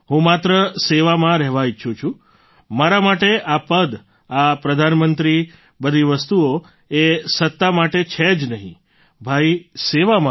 હું માત્ર સેવામાં રહેવા ઈચ્છું છું મારા માટે આ પદ આ પ્રધાનમંત્રી બધી વસ્તુઓ એ સત્તા માટે છે જ નહીં ભાઈ સેવા માટે છે